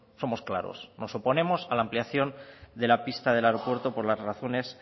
somos claros nos oponemos a la ampliación de la pista del aeropuerto por las razones